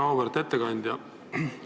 Väga auväärt ettekandja!